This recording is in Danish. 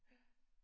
Ja